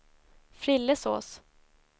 Frillesås